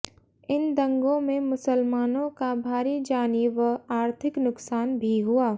इन दंगों में मुसलमानों का भारी जानी व आर्थिक नुकसान भी हुआ